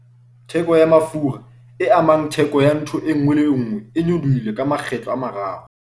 Theko ya mafura, e amang theko ya ntho e nngwe le e nngwe, e nyolohile ka makgetlo a mararo